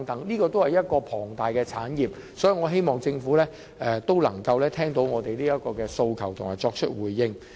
這些也是龐大的產業，所以，我希望政府能夠聽到我們的訴求，並作出回應。